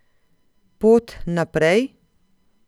Pot naprej?